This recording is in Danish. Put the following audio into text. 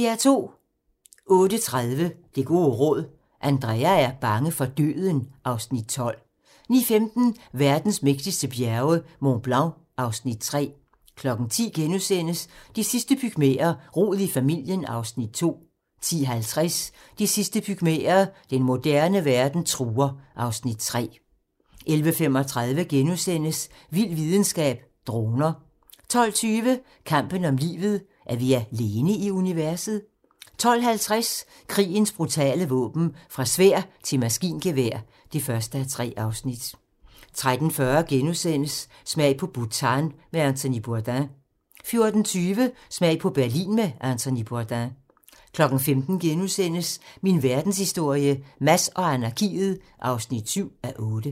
08:30: Det gode råd: Andrea er bange for døden (Afs. 12) 09:15: Verdens mægtigste bjerge: Mont Blanc (Afs. 3) 10:00: De sidste pygmæer: Rod i familien (Afs. 2)* 10:50: De sidste pygmæer: Den moderne verden truer (Afs. 3) 11:35: Vild videnskab: Droner * 12:20: Kampen om livet - er vi alene i universet? 12:50: Krigens brutale våben - fra sværd til maskingevær (1:3) 13:40: Smag på Bhutan med Anthony Bourdain * 14:20: Smag på Berlin med Anthony Bourdain 15:00: Min verdenshistorie - Mads og anarkiet (7:8)*